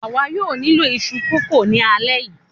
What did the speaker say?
àwa yóò nílò iṣu kókò ni alẹ́ yìí